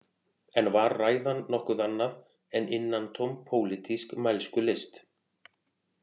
En var ræðan nokkuð annað en innantóm pólitísk mælskulist